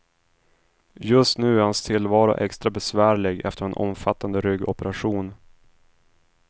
Just nu är hans tillvaro extra besvärlig efter en omfattande ryggoperation.